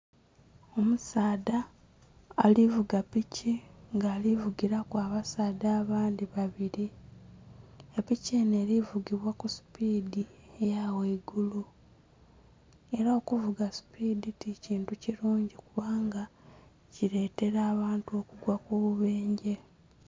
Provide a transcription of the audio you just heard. Omusaadha alivuga piki nga alivugilaku abasaadha abandhi babiri elili enho eli vugibwa ku supiidi eya ghaigulu era okuvuba supiidi ti kintu kilungi kiletela abantu omunhwa ku bubendhe.